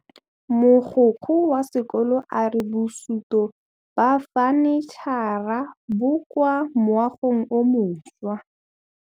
Mogokgo wa sekolo a re bosutô ba fanitšhara bo kwa moagong o mošwa.